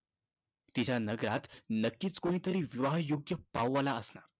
तिच्या नगरात नक्कीचं कुणीतरी विवाहयोग्य पाववाला असणार.